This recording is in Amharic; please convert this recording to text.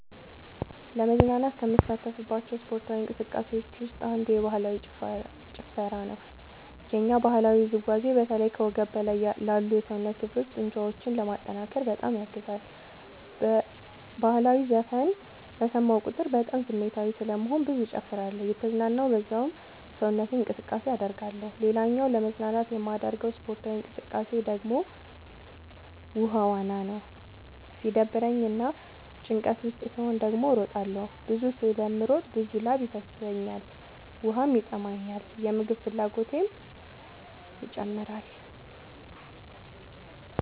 ለመዝናናት ከምሳተፍባቸው ስፓርታዊ እንቅስቃሴዎች ውስጥ አንዱ ባህላዊ ጭፈራ ነው። የኛ ባህላዊ ውዝዋዜ በተለይ ከወገብ በላይ ላሉ የሰውነት ክፍሎ ጡንቻዎችን ለማጠንከር በጣም ያግዛል። በህላዊ ዘፈን በሰማሁ ቁጥር በጣም ስሜታዊ ስለምሆን ብዙ እጨፍራለሁ እየተዝናናሁ በዛውም ሰውነት እንቅስቃሴ አደርጋለሁ። ሌላኛው ለመዝናናት የማደርገው ስፖርታዊ እንቅቃሴ ደግሞ ውሃ ዋና ነው። ሲደብረኝ እና ጭንቀት ውስጥ ስሆን ደግሞ እሮጣለሁ። ብዙ ስለምሮጥ ብዙ ላብ ይፈሰኛል ውሃም ይጠማኛል የምግብ ፍላጎቴም ይጨምራል።